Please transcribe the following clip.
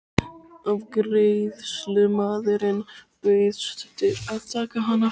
Afgreiðslumaðurinn bauðst til að taka hana frá.